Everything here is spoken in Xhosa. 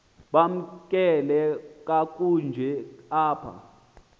bamkelwe kakuhte apha